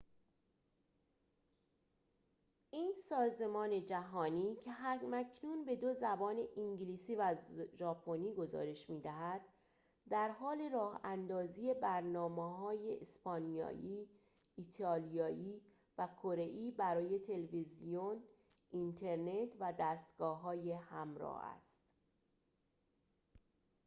این سازمان جهانی که هم‌اکنون به دو زبان انگلیسی و ژاپنی گزارش می‌دهد درحال راه‌اندازی برنامه‌های اسپانیایی ایالیایی و کره‌ای برای تلویزیون اینترنت و دستگاه‌های همراه است